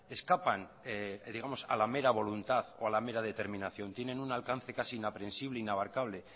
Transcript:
escapan digamos a la mera voluntad o a la mera determinación tienen un alcance casi inaprensible inabarcable